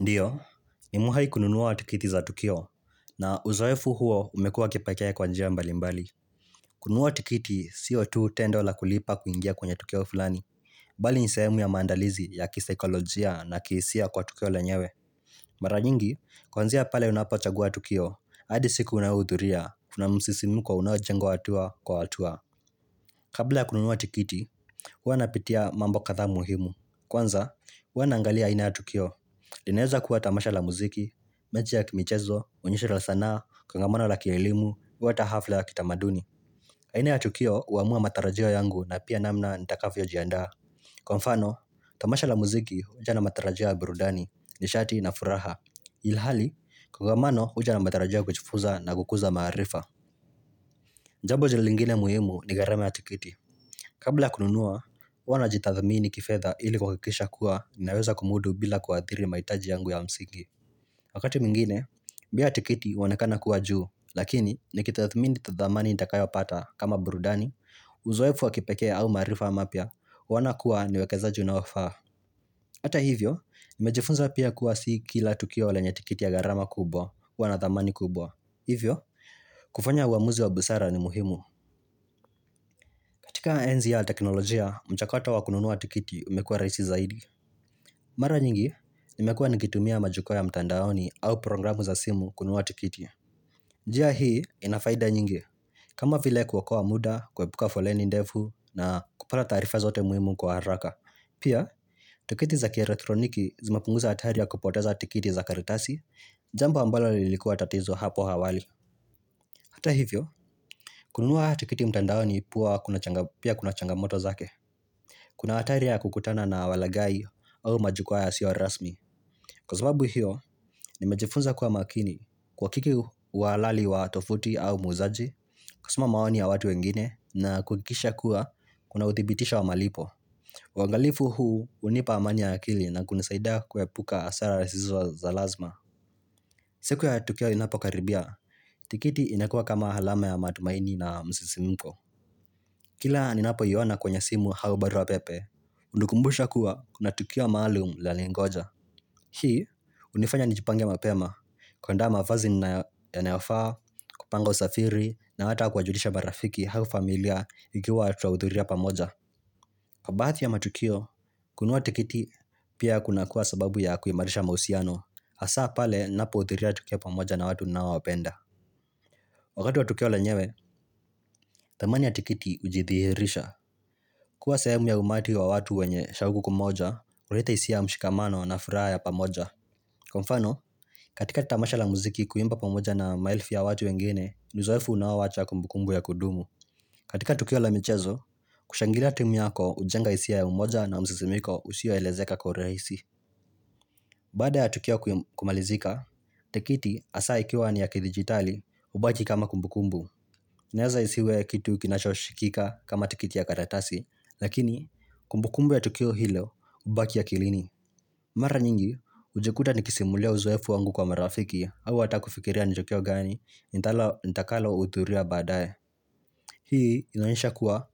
Ndiyo, ni muhai kununuwa tikiti za Tukio, na uzoefu huo umekuwa kipekee kwanjia mbali mbali. Kununuwa tikiti, siotu tendo la kulipa kuingia kwenye Tukio fulani, mbali nisayemu ya mandalizi ya kisikolojia na kihisia kwa Tukio lenyewe. Mara nyingi, kwanzea pale unapachagua Tukio, hadi siku unaudhuria, kuna msisimuko unaojengwa atua kwa atua. Kabla kununuwa atikiti, hua napitia mambo katha muhimu. Kwanza, hua nangalia aina ya Tukio. Linaeza kuwa tamasha la muziki, mechi ya kimichezo, unyesha la sanaa, kongamano la kielimu, wata hafla ya kitamaduni aina ya tukio uamua matarajio yangu na pia namna nitakafyo jianda Kwa mfano, tamasha la muziki uja na matarajio ya birudani, nishati na furaha Ilhali, kwangamano huja na matarajio kuchifuza na kukuza maharifa Njabo jililingine muhimu ni garama ya tikiti Kabla kununua, wana jitathamini kifedha ili kwakikisha kuwa, ninaeza kumudu bila kuadhiri maitaji yangu ya msigi Wakati mingine, bia tikiti uonakana kuwa juu, lakini ni kithathmini tathamani ntakayo pata kama burudani, uzoefu wakipeke au marifa mapya wuonakua niwekezaji na wafaa. Ata hivyo, nimejifunza pia kuwa si kila tukio lenye tikiti ya garama kubwa huwanathamani kubwa. Hivyo, kufanya uamuzi wa busara ni muhimu. Katika enzi ya teknolojia, mchakota wa kununuwa tikiti umekua raisi zaidi. Mara nyingi, nimekua nigitumia majukwa ya mtandaoni au programu za simu kununuwa tikiti. Njia hii inafaida nyingi. Kama vile kuokoa muda, kuwepuka foleni ndevu na kupata tarifa zote muimu kwa haraka. Pia, tikiti za kia retroniki zimapunguza atari ya kupoteza tikiti za karitasi, jambo ambalo lilikuwa tatizo hapo hawali. Hata hivyo, kununua tikiti mtandaoni pia kuna changamoto zake Kuna hatari ya kukutana na walagai au majukua yasio rasmi Kwa sababu hiyo, nimejifunza kuwa makini kwa kiki uwalali wa tofuti au muzaji Kwa suma maoni ya watu wengine na kukikisha kuwa kuna utibitisho wa malipo wangalifu huu hunipa amani ya akili na kunisaida kuepuka asara resizwa za lazima siku ya Tukio inapo karibia, tikiti inekua kama halama ya madumaini na msisimuko. Kila ninapoiyona kwenye simu hau barua pepe, undukumbusha kuwa kuna Tukio maalum la lingoja. Hii, hunifanya nijipange mapema, kwa nda mafazi yaneofaa, kupanga usafiri, na hata kwajulisha marafiki hau familia ikiwa tutauthuria pamoja. Kwa baati ya matukio, kunuwa tikiti pia kuna kuwa sababu ya kuimarisha mahusiano Asa pale napoutiria tukio pamoja na watu naowapenda Wakati watukio la nyewe, tamani ya tikiti ujithirisha Kwa sahemu ya umati wa watu wenye shawuku kumoja, ureta isia mshikamano na furaha ya pamoja Kwa mfano, katika tamasha la muziki kuimba pamoja na maelfu ya watu wengine, niuzoefu na wawacha kumbukumbu ya kudumu katika tukio la michezo, kushangila timu yako ujenga hisia ya umoja na mzizimiko usioelezeka korehisi. Baada ya tukio kumalizika, tekiti asaa ikiwa ni ya kidigitali hubaki kama kumbukumbu. Na yaza isiwe kitu kinashoshikika kama tekiti ya karatasi, lakini kumbukumbu ya tukio hilo ubaki akilini. Mara nyingi, ujekuta nikisimulia uzoefu wangu kwa merafiki au hatakufikiria njokio gani nitakalouthuria badae. Hii inoesha kuwa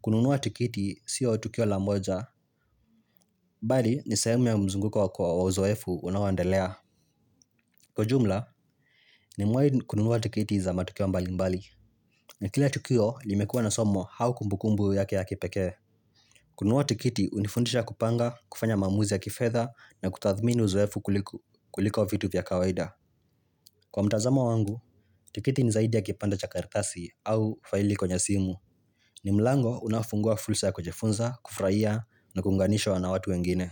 kununua tukiti siyo tukio la moja, mbali ni sahemuya mzunguko kwa wa uzoefu unaoendelea. Kwa jumla, nimwai kununua tikiti za matukio mbali mbali. Na kile tukio limekua na somo haukumbukumbu yake ya kipeke. Kununua tukiti hunifundisha kupanga, kufanya mamuzi ya kifedha na kutathmini uzoefu kuliko vitu vya kawaida. Kwa mtazamo wangu, tikiti ni zaidi ya kipanda cha karitasi au faili kwenye simu. Ni mlango unafungua fulsa ya kujifunza, kufuraia na kunganishwa na watu wengine.